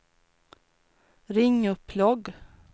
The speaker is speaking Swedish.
ring upp logg